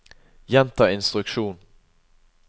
gjenta instruksjon